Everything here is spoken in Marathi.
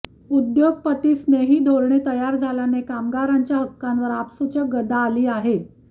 उद्योगपतीस्नेही धोरणे तयार झाल्याने कामगारांच्या हक्कांवर आपसूकच गदा आली आहे